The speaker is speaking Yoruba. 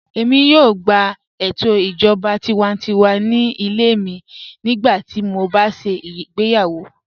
Èmi yóò gbà ètò ìjọba tìwántíwà ní ilẹ̀ mi nígbàtí mó bá ṣé igbèyàwó